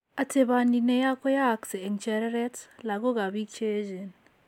Ateponi ne yaa ko yaayakse eng' chereret, lakook ak biik che echeen.